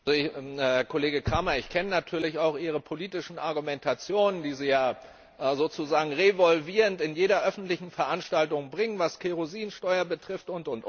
Kollege Cramer, ich kenne natürlich auch Ihre politischen Argumentationen, die Sie ja sozusagen revolvierend in jeder öffentlichen Veranstaltung bringen, was Kerosinsteuer betrifft usw.